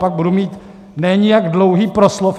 Pak budu mít ne nijak dlouhý proslov.